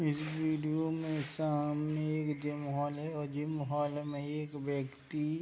में सामने एक जिम हॉल है। जिम हॉल में एक व्यक्ति --